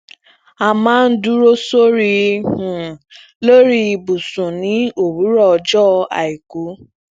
a maa ń duro sori um lórí ibùsùn ní òwúrọ ọjọ aiku